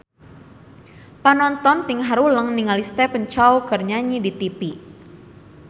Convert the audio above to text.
Panonton ting haruleng ningali Stephen Chow keur nyanyi di tipi